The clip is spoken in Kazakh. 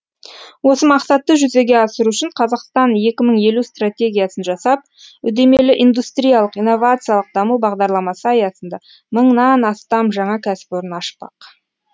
осы мақсатты жүзеге асыру үшін қазақстан екі мың елу стратегиясын жасап үдемелі индустриялық инновациялық даму бағдарламасы аясында мыңнан астам жаңа кәсіпорын ашпақ